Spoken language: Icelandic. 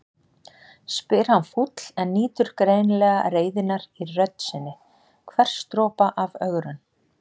spyr hann fúll en nýtur greinilega reiðinnar í rödd sinni, hvers dropa af ögrun.